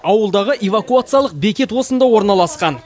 ауылдағы эвакуациялық бекет осында орналасқан